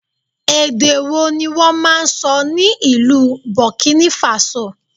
Èdè wo ni wọ́n máa ń sọ ní ìlú Burkina Faso?